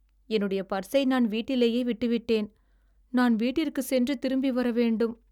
என்னுடைய பர்ஸை நான் வீட்டிலேயே விட்டுவிட்டேன். நான் வீட்டிற்குச் சென்று திரும்பிவர வேண்டும்.